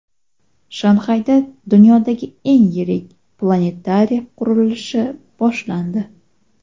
Shanxayda dunyodagi eng yirik planetariy qurilishi boshlandi.